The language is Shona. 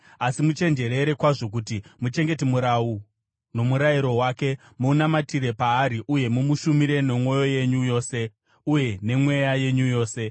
Asi muchenjerere kwazvo kuti muchengete murau nomurayiro wake, munamatire paari uye mumushumire nemwoyo yenyu yose, uye nemweya yenyu yose.”